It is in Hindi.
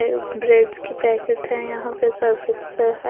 ब्रेड्स की पैकेट हैं यहाँ पे सरफेक्सल है।